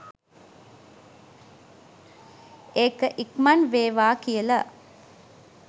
ඒක ඉක්මන් වේවා කියල